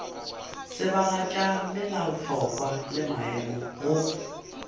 tsebagatša melaotlhakwa le maemo go